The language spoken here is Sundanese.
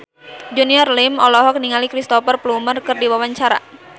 Junior Liem olohok ningali Cristhoper Plumer keur diwawancara